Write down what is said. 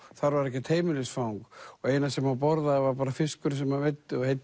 þar var ekkert heimilisfang og eina sem hann borðaði var fiskurinn sem hann veiddi og